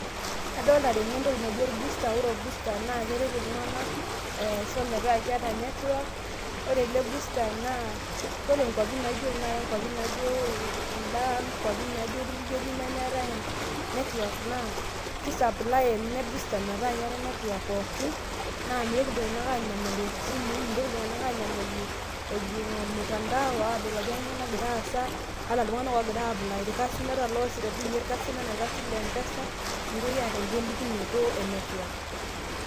Adolita tene entoki nijo naaji nijo CS[booster]CS ore CS[booster]CS naa keret iltung'anak aisho metaa keeta CS[network]CS, ore ele CS[booster]CS naa ore inkwapi orpurkeli nemeetai CS[network]CS naa ki CS[supply]CS metaa keetai CS[network]CS te woji pooki naa meitoki iltung'anak aanyamal ewosh isimui mitoki iltung'anak aanyamalu ejing ormutantao aadol ajo kanyoo nagira aasa ata iltung'anak oosisho te M-pesa meitoki aata egolikinoto e CS[network]CS .